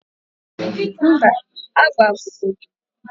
mba, agba bụ odo